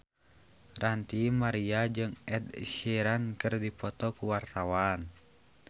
Ranty Maria jeung Ed Sheeran keur dipoto ku wartawan